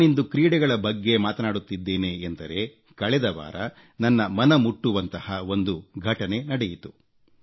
ನಾನಿಂದು ಕ್ರೀಡೆಗಳ ಬಗ್ಗೆ ಮಾತನಾಡುತ್ತಿದ್ದೇನೆಂದರೆ ಕಳೆದ ವಾರ ನನ್ನ ಮನ ಮುಟ್ಟುವಂತಹ ಒಂದು ಘಟನೆ ನಡೆಯಿತು